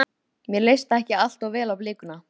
Mér leist ekki allt of vel á blikuna.